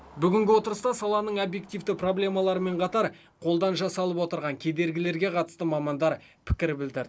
бүгінгі отырыста саланың объективті проблемаларымен қатар қолдан жасалып отырған кедергілерге қатысты мамандар пікір білдірді